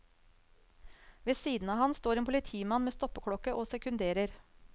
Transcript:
Ved siden av han står en politimann med stoppeklokke og sekunderer.